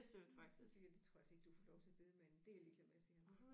Men så siger jeg det tror jeg altså ikke du får lov til af bedemanden det er jeg ligeglad med siger han